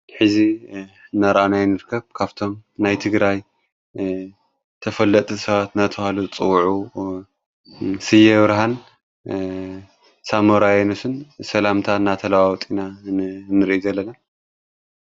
ሕዚ ናራኣናይ ንርከብ ካብቶም ናይ ትግራይ ተፈለጥ ሰባት ነታብሃሉ ጽውዑ ሢየወርሃን ሳሞራያኖስን ሰላምታ እናተለዋውጢና ንእንሪ ዘለለ